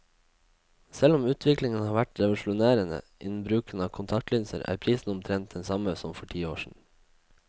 Selv om utviklingen har vært revolusjonerende innen bruken av kontaktlinser, er prisen omtrent den samme som for ti år siden.